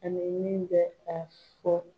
Ani min bɛ k'a fɔ